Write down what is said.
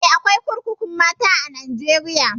Eh, akwai kurkukun mata a Najeriya.